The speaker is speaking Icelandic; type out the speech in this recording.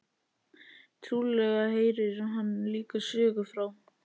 Trúlega heyrir hann líka sögu frá